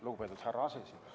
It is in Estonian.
Lugupeetud härra aseesimees!